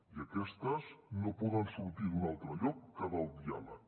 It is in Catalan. i aquestes no poden sortir d’un altre lloc que del diàleg